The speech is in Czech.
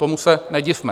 Tomu se nedivme.